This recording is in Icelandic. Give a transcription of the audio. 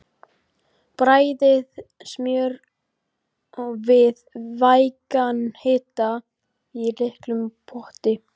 Bræðið smjör við vægan hita í litlum potti.